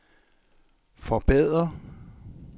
forbedre